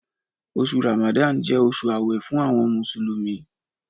Oṣù Ramadan jẹ́ oṣù àwẹ̀ fún àwọn Mùsùlùmí.